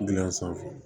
Gilan sanfɛ